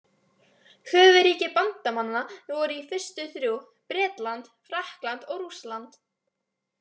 Höfuðríki bandamanna voru í fyrstu þrjú: Bretland, Frakkland og Rússland.